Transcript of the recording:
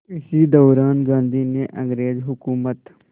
इसी दौरान गांधी ने अंग्रेज़ हुकूमत